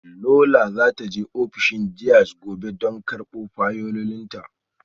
Lola za ta je ofishin deans gobe don karbo fayilolinta